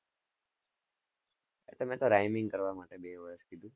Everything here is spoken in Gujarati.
તમે તો Raiming કરવા માટે બે વર્ષ થી.